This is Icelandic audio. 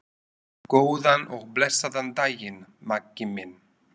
Góðan og blessaðan daginn, Maggi minn.